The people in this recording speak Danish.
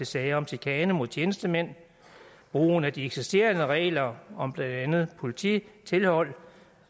sager om chikane mod tjenestemænd brugen af de eksisterende regler om blandt andet polititilhold